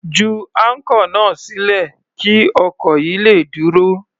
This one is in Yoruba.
Ju áńkọ̀ náà sílẹ̀ kí ọkọ̀ yìí le dúró.